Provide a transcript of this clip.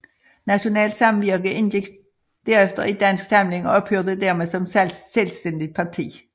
Nationalt Samvirke indgik derefter i Dansk Samling og ophørte dermed som selvstændigt parti